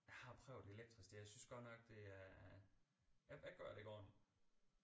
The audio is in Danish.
Jeg har prøvet elektrisk det jeg synes godt nok det er jeg jeg gør det ikke ordenligt